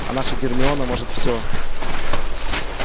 а наша гермиона может всё